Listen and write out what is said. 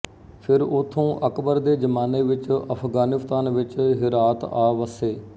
ਫਿਰ ਉਥੋਂ ਅਕਬਰ ਦੇ ਜਮਾਨੇ ਵਿੱਚਅਫਗਾਨਿਸਤਾਨ ਵਿੱਚ ਹੇਰਾਤ ਆ ਵਸੇ